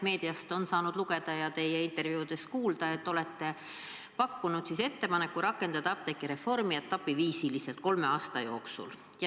Meediast on saanud lugeda ja teie intervjuudest kuulda, et te olete pakkunud ettepaneku rakendada apteegireformi etapiviisil kolme aasta jooksul.